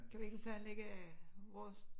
Kan vi ikke planlægge øh vores